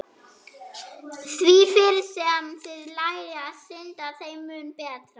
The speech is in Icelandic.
Því fyrr sem þið lærið að synda, þeim mun betra.